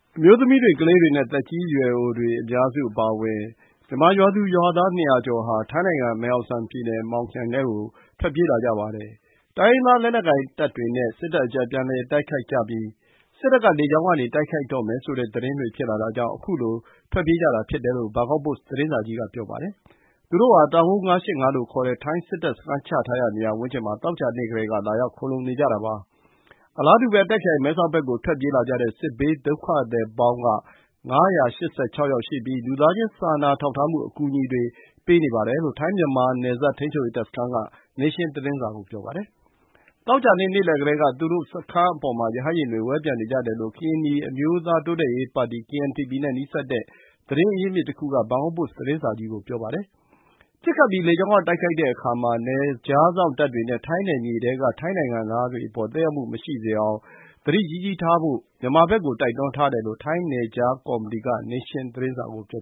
မျိုးသမီးတွေ၊ ကလေးတွေနဲ့ သက်ကြီးရွယ်အိုတွေ ဖြစ်ကြတဲ့ မြန်မာ ရွာသူရွာသား ၂၀၀ ကျော်ဟာ ထိုင်းနိုင်ငံ မယ်ဟောင်ဆန်ပြည်နယ်၊ Muang ခရိုင်ထဲကို ထွက်ပြေးလာကြပါတယ်။ တိုင်းရင်းသား လက်နက်ကိုင်တပ်တွေနဲ့ စစ်တပ်အကြား ပြန်လည် တိုက်ခိုက်လာကြပြီး စစ်တပ်က လေကြောင်းကနေ တိုက်ခိုက်တော့မယ်ဆိုတဲ့ သတင်းတွေ ဖြစ်လာတာကြောင့် ခုလို ထွက်ပြေးလာကြတာဖြစ်တယ်လို့ ဘန်ကောက်ပို့စ် သတင်းစာကြီးက ပြောပါတယ်။ သူတို့ဟာ တောင်ကုန်း ၅၈၅ လို့ခေါ်တဲ့ ထိုင်းစစ်တပ် စခန်းချထားရာ နေရာဝန်းကျင်မှာ သောကြာနေ့ကတည်းက လာရောက် ခိုလှုံနေကြတာပါ။ အလားတူပဲ တာ့ခ်ခရိုင် မဲဆောက်ဘက်ကို ထွက်ပြေးလာကြတဲ့ စစ်ဘေးဒုက္ခသည်ပေါင်းက ၅၈၆ ယောက်ရှိပြီး လူသားချင်း စာနာထောက်ထားမှု အကူအညီတွေ ပေးနေပါတယ်လို့ ထိုင်း-မြန်မာနယ်စပ် ထိန်းချုပ်ရေး တပ်စခန်းက နေးရှင်းသတင်းစာကို ပြောပါတယ်။ သောကြာနေ့ နေ့လယ်ကတည်းက သူတို့စခန်းအပေါ်မှာ ရဟတ်ယာဉ်တွေ ဝဲပျံနေကြတယ်လို့ ကရင်နီအမျိုးသားတိုးတက်ရေးပါတီ (KNPP) နဲ့ နီးစပ်တဲ့ သတင်းအရင်းအမြစ်တခုက ဘန်ကောက်ပို့စ် သတင်းစာကြီးကို ပြောပါတယ်။ ဒါဟာ လေကြောင်းက တိုက်ခိုက်တော့မယ့် အရိပ်နိမိတ် ဖြစ်တယ်လို့ သူက ဆိုပါတယ်။ ပစ်ခတ်ပြီး လေကြောင်းက တိုက်ခိုက်တဲ့အခါ နယ်ခြားစောင့်တပ်တွေနဲ့ ထိုင်းနယ်မြေထဲက ထိုင်းနိုင်ငံသားတွေအပေါ် သက်ရောက်မှု မရှိစေအောင် သတိကြီးကြီးထားဖို့ ထိုင်းနယ်ခြားကော်မတီက မြန်မာဘက်ကို တိုက်တွန်းထားတယ်လို့ ထိုင်းနယ်ခြားကော်မတီက နေးရှင်းသတင်းစာကို ပြော